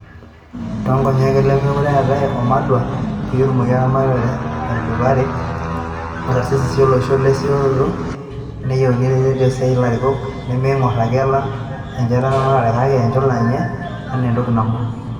Toonkonyek olemekuree eetay Wamalwa, peyie etumoki eramatare etudupari te karisisisho olosho lerisioroto, neyieu ireteni osiasani larikok nemeingor ake oleng enchoto eramatare kake enchula enye enaa entoki nabo.